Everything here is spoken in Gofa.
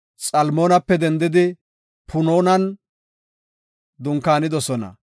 Xalmoonape dendidi Punoonan dunkaanidosona.